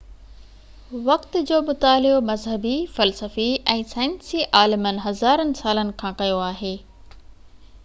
وقت جو مطالعو مذهبي فلسفي ۽ سائنسي عالمن هزارن سالن کان ڪيو آهي